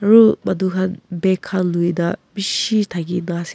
ru manu khan bag khan luina bishi thakina ase.